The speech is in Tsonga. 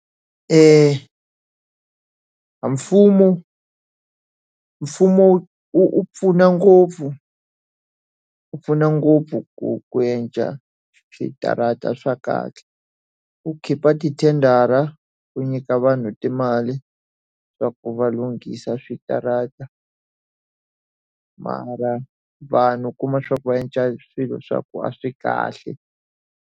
Mfumo mfumo wu pfuna ngopfu wu pfuna ngopfu ku ku endla switarata swa kahle. Wu khipha tithendara, wu nyika vanhu timali swa ku va lunghisa switarata. Mara vanhu u kuma swa ku va endla swilo swa ku a swi kahle.